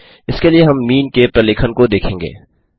इसके लिए हम मीन के प्रलेखन को देखेंगे